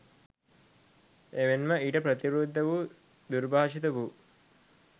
එමෙන්ම ඊට ප්‍රතිවිරුද්ධ වූ දුර්භාෂිත වූ,